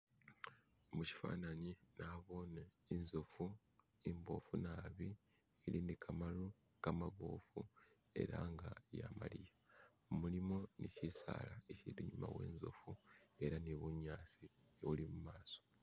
mushifanani nabone inzofu imbofu nabi ili nikamalu kamabofu ela nga yamaliya mulimo ni bisaala bifiti inyuma wenzofu ela nibunyasi buli mumaso